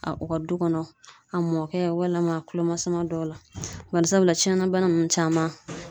A u ka du kɔnɔ, a mɔkɛ walima a kulo masuma dɔw la, barisabula tiɲɛna bana ninnu caman